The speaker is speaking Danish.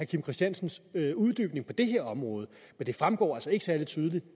kim christiansens uddybning på det her område men det fremgår altså ikke særlig tydeligt